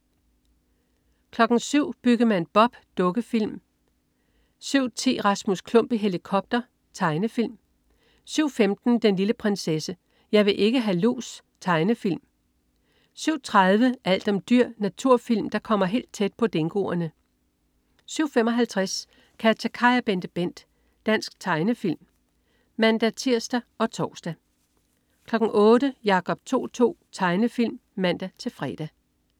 07.00 Byggemand Bob. Dukkefilm (man-fre) 07.10 Rasmus Klump i helikopter. Tegnefilm 07.15 Den lille prinsesse. Jeg vil ikke ha' lus. Tegnefilm (man-fre) 07.30 Alt om dyr. Naturfilm, der kommer helt tæt på dingoerne 07.55 KatjaKaj og BenteBent. Dansk tegnefilm (man-tirs og tors) 08.00 Jacob To-To. Tegnefilm (man-fre)